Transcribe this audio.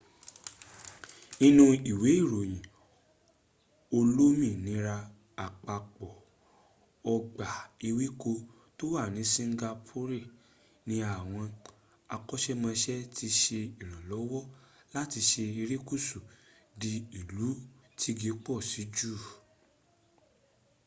nínú ìwé ìròyìn olómìnira àpapọ̀ ọgbà ewéko to wà ní singapore ní àwọn akọ́ṣẹ́mọṣẹ ti ṣe ìrànlọ́wọ́ láti sọ erékùsù di ìlú tígi pọ̀ sí jù